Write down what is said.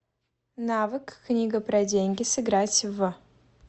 навык книга про деньги сыграть в